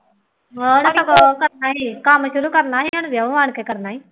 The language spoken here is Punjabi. ਉਹਨਾ ਨੇ ਤਾਂ ਉਹ ਕਰਨਾ ਸੀ, ਕੰਮ ਸ਼ੁਰੂ ਕਰਨਾ ਸੀ, ਉਹਨੇ ਜਿਉਂ ਆਉਣ ਕੇ ਕਰਨਾ ਸੀ